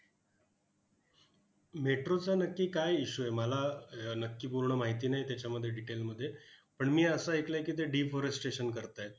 Metro चा नक्की काय issue आहे? मला अह नक्की पूर्ण माहिती नाही त्याच्यामध्ये detail मध्ये. पण मी असं ऐकलंय की, ते deforestation करतायत.